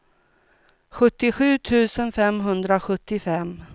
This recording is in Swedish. sjuttiosju tusen femhundrasjuttiofem